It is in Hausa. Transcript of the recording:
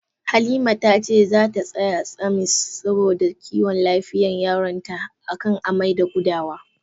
Halima ta ce zata saya samis saboda kiwon lafiyan yaronta, a kan amai da gudawa.